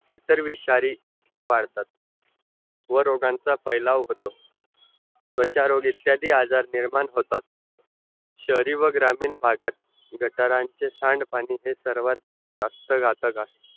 इतर विषारी तितके वाढतात वर रोगांचा फैलाव होतो त्वचा रोग इत्यादी आजार निर्माण होतात शेहरी व ग्रामीण भागात गटारांचे सांड पाणी है सर्वात जास्त घातक असतात